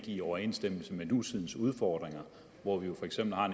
i overensstemmelse med nutidens udfordringer hvor vi jo for eksempel har